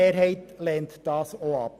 Die Mehrheit lehnt sie ab.